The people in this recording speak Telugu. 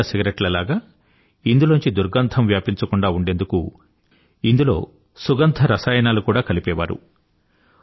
మిగతా సిగరెట్ల లాగ ఇందులోంచి దుర్గంధం వ్యాపించకుండా ఉండేందుకు ఇందులో సుగంధ రసాయనాలు కూడా కలిపేవారు